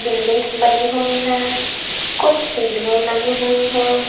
Buildings बनी हुई हैं कुछ सीढिएं लगी हुई हैं।